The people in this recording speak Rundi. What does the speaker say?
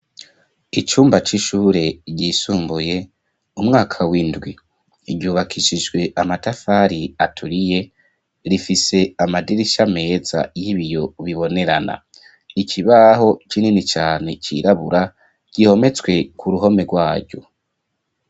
Icumba, c'ishure ryisumbuye, umwaka w'indwi; ryubakishijwe amatafari, aturiye, rifise amadirisha meza, y'ibiyo, bibonerana; ikibaho kinini cane, cirabura, gihometswe ku ruhome, rwaryo.